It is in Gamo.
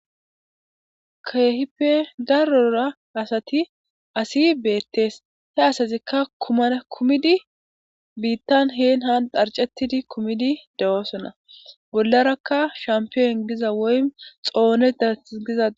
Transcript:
Keehipe darora asati asi beettees. He asatikka kuman kumidi biittan heedann xaaricettidi kumidi de'oosona. Bollarakka shampiyon giza woyikko xoone dagiza.